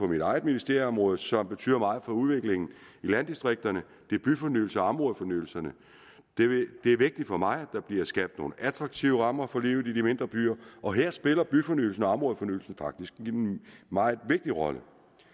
mit eget ministeriums område som betyder meget for udviklingen i landdistrikterne det er byfornyelserne og områdefornyelserne det er vigtigt for mig at der bliver skabt nogle attraktive rammer for livet i de mindre byer og her spiller byfornyelsen og områdefornyelsen faktisk en meget vigtig rolle